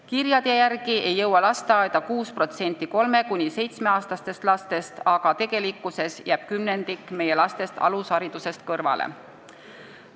Kirjade järgi ei jõua lasteaeda 6% kolme- kuni seitsmeaastastest lastest, aga tegelikkuses jääb kümnendik meie lastest alusharidusest kõrvale.